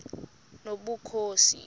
nobukhosi